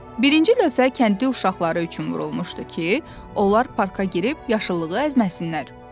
Birinci lövhə kəndli uşaqları üçün vurulmuşdu ki, onlar parka girib yaşılılığı əzməsinlər.